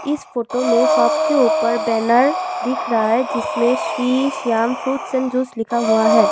इस फोटो में शॉप के ऊपर बैनर दिख रहा है जिसमें Shri Shyam fruits and juice लिखा हुआ है।